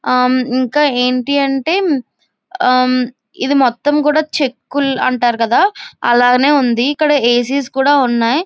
అ ఇంకా ఏంటి అంటే అ ఇది మొత్తం కూడా చెక్కులు అంటారు కదా అలానే ఉంది. ఇక్కడ ఏ సి స్ కూడా ఉన్నాయ్.